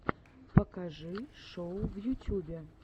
покажи шоу в ютьюбе